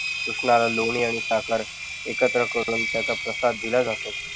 कृष्णाला लोणी आणि साखर एकत्र करून त्याचा प्रसाद दिला जातो.